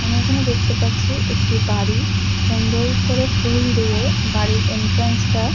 আমরা এখানে দেখতে পাচ্ছি একটি বাড়ি সুন্দর করে ফুল দিয়ে বাড়ির এন্ট্রান্স -টা--